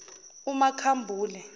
umakhambule